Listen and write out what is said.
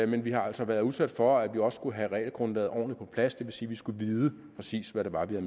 men vi har altså været udsat for at vi også skulle have regelgrundlaget ordentligt på plads det vil sige at vi skulle vide præcis hvad det var vi